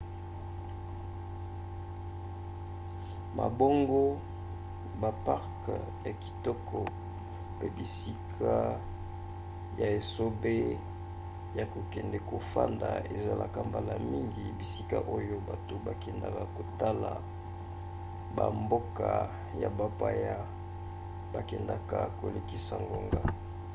mabongo baparke ya kitoko pe bisika ya esobe ya kokende kofanda ezalaka mbala mingi bisika oyo bato bakendaka kotala bamboka ya bapaya bakendaka kolekisa ngonga